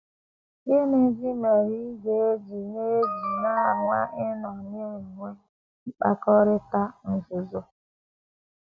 Gịnịzi mere ị ga - eji na - eji na - um anwa ịnọ na - enwe mkpakọrịta nzuzo? um